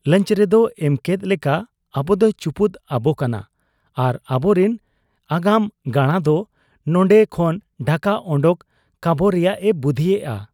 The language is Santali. ᱞᱟᱧᱪᱚ ᱨᱮᱫ ᱮᱢᱠᱮᱫ ᱞᱮᱠᱟ ᱟᱵᱚᱫᱚᱭ ᱪᱩᱯᱩᱫ ᱟᱵᱚ ᱠᱟᱱᱟ ᱟᱨ ᱟᱵᱚᱨᱤᱱ ᱟᱜᱟᱢ ᱜᱟᱬᱟ ᱫᱚ ᱱᱚᱱᱰᱮ ᱠᱷᱚᱱ ᱰᱷᱟᱠᱟ ᱚᱰᱚᱠ ᱠᱟᱵᱚ ᱨᱮᱭᱟᱜ ᱮ ᱵᱩᱫᱷᱤᱭᱮᱜ ᱟ ᱾